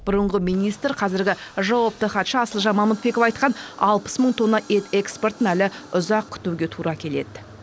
бұрынғы министр қазіргі жауапты хатшы асылжан мамытбеков айтқан алпыс мың тонна ет экспортын әлі ұзақ күтуге тура келеді